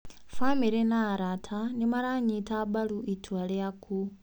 Bamĩrĩ na arata nĩmaranyita mbaru itua rĩaku